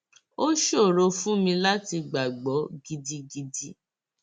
ó ṣòro fún mi láti gbàgbọ gidigidi